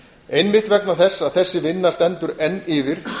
einmitt vegna þess að þessi vinna stendur enn yfir